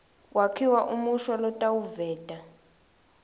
kwakhiwa umusho lotawuveta